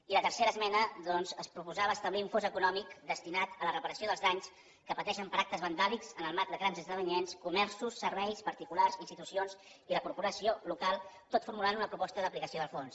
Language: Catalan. i a la tercera esmena doncs es proposava establir un fons econòmic destinat a la reparació dels danys que pateixen per actes vandàlics en el marc de grans esdeveniments comerços serveis particulars institucions i la corporació local tot formulant una proposta d’aplicació del fons